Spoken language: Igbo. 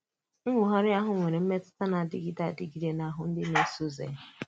Nnwògha ahụ nwere mmetụta na-àdịgide àdịgide n’ahụ ndị na-èsò ụzọ ya.